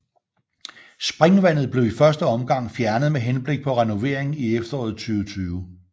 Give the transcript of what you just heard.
Springvandet blev i første omgang fjernet med henblik på renovering i efteråret 2020